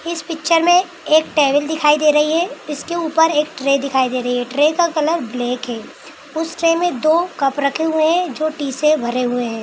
इस पिक्चर में एक टेबल दिखाई दे रही है इसके ऊपर एक ट्रे दिखाई दे रही है ट्रे का कलर ब्लैक है उस ट्रे में दो कप रखे हुए है जो टी से भरे हुए है।